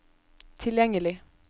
tilgjengelig